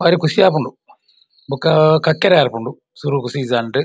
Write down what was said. ಬಾರಿ ಖುಶಿ ಆಪುಂಡು ಬೊಕ್ಕ ಕಕ್ಕೆರೆ ಬರ್ಪುನ್ಡು ಸುರುಕು ಸೀಸನ್ಡ್ .